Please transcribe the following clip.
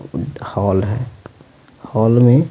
hall है hall में--